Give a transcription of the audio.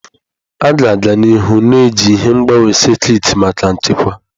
A ga-aga n'ihu na-eji ihe mgbawa sekit maka nchekwa.